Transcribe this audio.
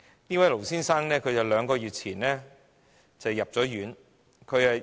這位盧先生於兩個月前入院。